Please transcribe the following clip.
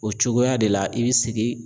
O cogoya de la i bI sIgi.